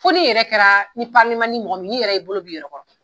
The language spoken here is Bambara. Fo n'i yɛrɛ kɛra ni ma di e mɔgɔ min ye n'i yɛrɛ y'i bolo b'i yɛrɛ kɔrɔ.